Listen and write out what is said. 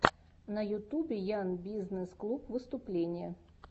на ютубе ян бизнесс клуб выступление